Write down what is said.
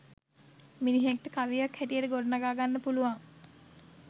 මිනිහෙක්ට කවියක් හැටියට ගොඩනඟා ගන්න පුළුවන්.